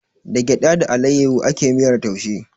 Da gyaɗa da alayyahu ake miyar taushe